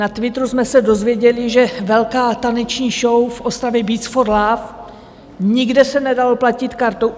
Na Twitteru jsme se dozvěděli, že velká taneční show v Ostravě Beats for Love, nikde se nedalo platit kartou.